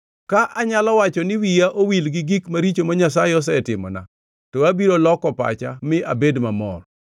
Ka anyalo wacho ni wiya owil gi gik maricho ma Nyasaye osetimona, to abiro loko pacha mi abed mamor.